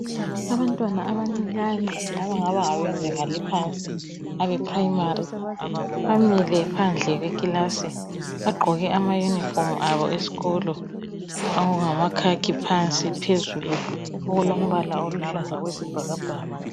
abantwana abancinyane abangaba ngabezinga elaphansi abe primary bamile phandle kwekilasi bagqoke ama uniform abo esikolo okungama khakhi phansi phezulu okulombala oluhlaza okwesibhakabhka